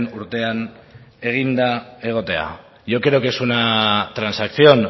urtean eginda egotea yo creo que es una transacción